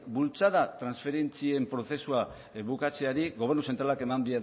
bultzada transferentzien prozesua bukatzeari gobernu zentralak